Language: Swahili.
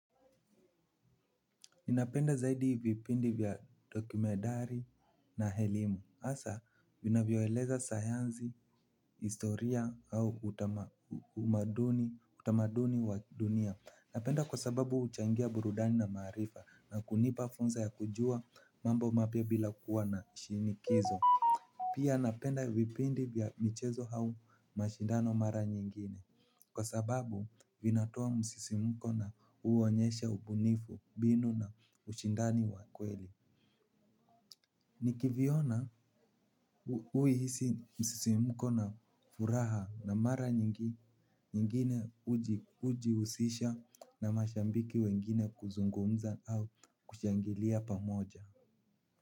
Ninapenda zaidi vipindi vya dokumentari na elimu. Hasa vinavyoeleza sayansi, historia au utamaduni wa dunia. Napenda kwa sababu huchangia burudani na maarifa na kunipa funza ya kujua mambo mapya bila kuwa na shinikizo. Pia napenda vipindi vya michezo hau mashindano mara nyingine. Kwa sababu vinatoa msisimko na uonyesha ubunifu mbinu na ushindani wa kweli. Nikiviona huhisi msisimko na furaha na mara nyingine ujihusisha na mashambiki wengine kuzungumza au kushangilia pamoja.